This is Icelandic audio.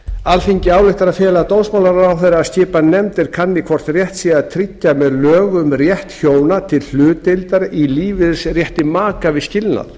alþingi ályktar að fela dómsmálaráðherra að skipa nefnd er kanni hvort rétt sé að tryggja með lögum rétt hjóna til hlutdeildar í lífeyrisrétti maka við skilnað